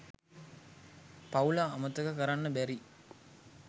පවුල අමතක කරන්න බැරි.